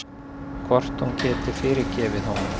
Hvort hún geti fyrirgefið honum.